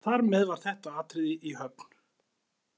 Þar með var þetta atriði í höfn.